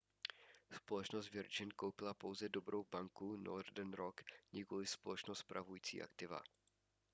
společnost virgin koupila pouze dobrou banku northern rock nikoliv společnost spravující aktiva